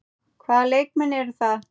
Hvaða leikmenn eru það?